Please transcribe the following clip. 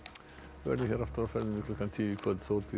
verðum hér aftur klukkan tíu í kvöld Þórdís